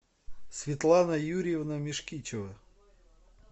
светлана юрьевна мешкичева